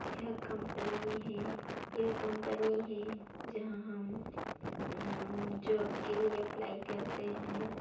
यह कंपनी है यह कंपनी है जहां हम जॉब के लिए अप्लाई करते हैं।